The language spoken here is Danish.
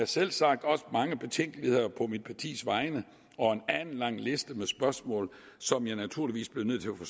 selvsagt også mange betænkeligheder på mit partis vegne og en alenlang liste med spørgsmål som jeg naturligvis bliver nødt til at